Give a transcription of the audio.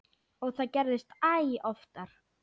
Og það gerðist æ oftar.